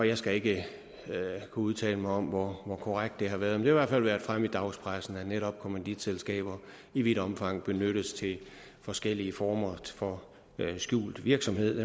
jeg skal ikke kunne udtale mig om hvor korrekt det har været men i hvert fald været fremme i dagspressen at netop kommanditselskaber i vidt omfang benyttes til forskellige former for skjult virksomhed